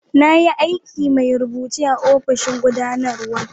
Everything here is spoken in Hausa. Na yi aikin mai rubuce a'ofishin gudanarwa.